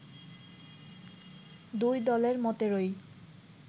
দুই দলের মতেরই